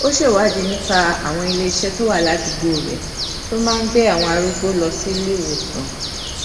ó ṣèwádìí nípa àwọn iléiṣé tó wà ládùúgbò rè tó máa ń gbé àwọn arúgbó lọ sí ilé-ìwòsàn